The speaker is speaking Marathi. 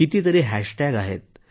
कितीतरी हॅशटॅग आहेत